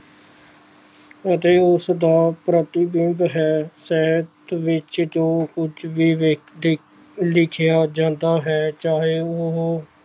ਉਹਦੇ ਉਸਦਾ ਪ੍ਰਤੀਬਿੰਬ ਹੈ ਸਾਹਿਤ ਵਿਚ ਜੋ ਕੁਝ ਵੀ ਲਿਖਿਆ ਜਾਂਦਾ ਹੈ ਚਾਹੇ ਉਹੋ